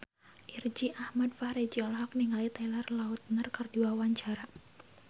Irgi Ahmad Fahrezi olohok ningali Taylor Lautner keur diwawancara